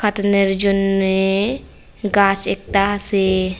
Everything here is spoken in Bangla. কাটানের জন্যে গাছ একতা আসে।